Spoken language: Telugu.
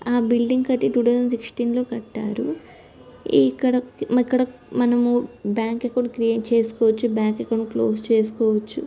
ఆ బిల్డింగ్ ఐతే టూ థౌసండ్ సిక్సతీం లో కట్టారు. ఇక్కడికే ఇక్కడ మనము బ్యాంకు అకౌంట్ క్రీటే చేస్కోవచ్చు. బ్యాంకు అకౌంట్ లో ఉస్ చేస్కోవచ్చు.